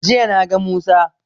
Jiya na ga musa